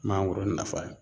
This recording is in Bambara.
Mangoro nafa ye